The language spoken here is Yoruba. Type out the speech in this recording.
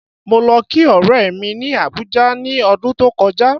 Mo lo kí ọ̀rẹ́ mi ni Abuja ni ọdún tó kọjá